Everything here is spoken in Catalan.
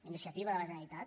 iniciativa de la generalitat